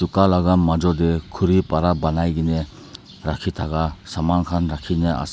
la majud dae khuri para banaikena rakhi thaka saman khan rakhina ase.